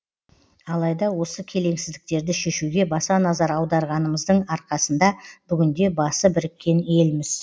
алайда осы келеңсіздіктерді шешуге баса назар аударғанымыздың арқасында бүгінде басы біріккен елміз